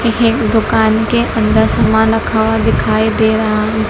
ये दुकान के अंदर सामान रखा हुआ दिखाई दे रहा है।